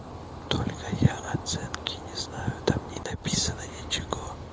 только я оценки не знаю там не написано ничего